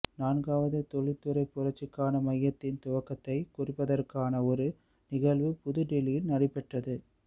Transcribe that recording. நான்காவது தொழில்துறை புரட்சிக்கான மையத்தின் துவக்கத்தை குறிப்பதற்கான ஒரு நிகழ்வு புது தில்லியில் நடைபெற்றது